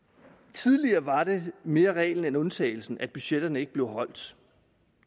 tidligere var det mere reglen end undtagelsen at budgetterne ikke blev overholdt